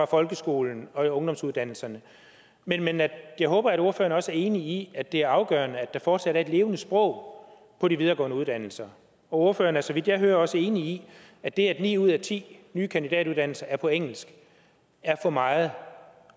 folkeskolen og på ungdomsuddannelserne men men jeg håber at ordføreren også er enig i at det er afgørende at der fortsat er et levende sprog på de videregående uddannelser og ordføreren er så vidt jeg hører også enig i at det at ni ud af ti nye kandidatuddannelser er på engelsk er for meget